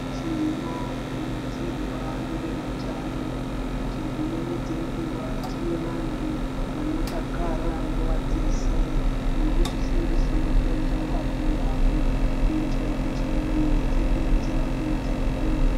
Tinokurudzirwa nevewutano Kuti dzimweni dzenguwa tive vantu vanodakara nguva dzese nekuzvisimbisa magoso nguva dzese kt miri dzedu dzirambe dzakagwinya.